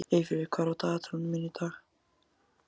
Eyfríður, hvað er í dagatalinu í dag?